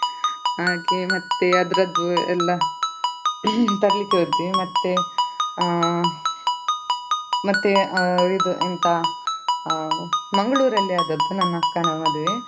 ಹಾಗೆ ಮತ್ತೆ ಅದರದ್ದು ಎಲ್ಲ ತರ್ಲಿಕ್ಕೆ ಹೋದ್ವಿ ಮತ್ತೆ ಅಹ್ ಮತ್ತೆ ಅಹ್ ಇದು ಎಂತ ಅಹ್ Mangalore ಲ್ಲಿ ಆದದ್ದು ನನ್ನ ಅಕ್ಕನ ಮದುವೆ.